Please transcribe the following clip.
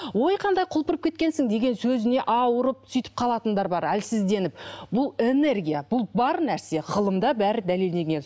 ой қандай құлпырып кеткенсің деген сөзіне ауырып сөйтіп қалатындар бар әлсізденіп бұл энергия бұл бар нәрсе ғылымда бәрі дәлелденген